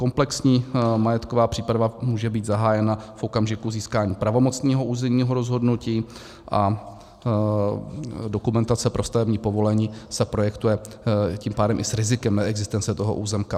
Komplexní majetková příprava může být zahájena v okamžiku získání pravomocného územního rozhodnutí, a dokumentace pro stavební povolení se projektuje tím pádem i s rizikem neexistence toho územka.